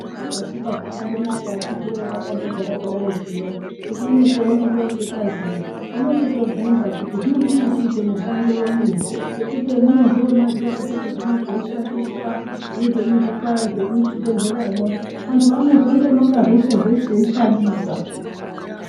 Katika zvakandonaka akiti woye takandogara kudai zvino kuti kune cheusikazii unochitobvunza kuti zvino chinoochiite mushando wenyi ngekuti hemuno zviona zviro zvino zveishandiswa nezvemuzvipa zvemuzvibhedhleramo antu anozondononga zveshe zveshe eishandisa.